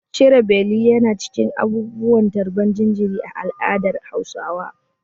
Cire beli yana cikin abubuwan tarbar jinjiri a al'adar Hausawa.